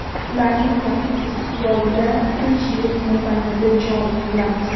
Ularni yaqin istiqbolda, uch yil mobaynida joriy qilamiz.